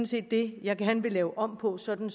set det jeg gerne vil lave om på sådan